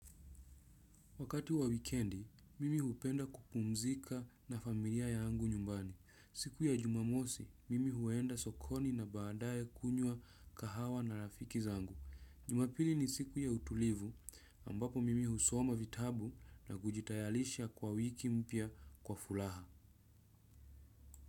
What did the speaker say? Wakati wa wikendi, mimi hupenda kupumzika na familia yangu nyumbani. Siku ya jumamosi, mimi huenda sokoni na baadaye kunywa kahawa na rafiki zangu. Jumapili ni siku ya utulivu ambapo mimi husoma vitabu na kujitayalisha kwa wiki mpya kwa fulaha.